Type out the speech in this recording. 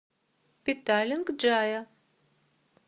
петалинг джая